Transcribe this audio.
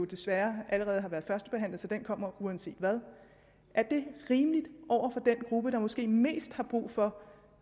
desværre allerede har været førstebehandlet så det kommer uanset hvad er det rimeligt over for den gruppe der måske har mest brug for